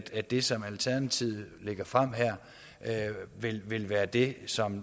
at det som alternativet lægger frem her vil vil være det som